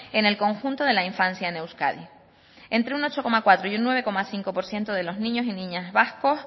en el conjunto de la infancia en euskadi entre un ocho coma cuatro y un nueve coma cinco por ciento de los niños y niñas vascos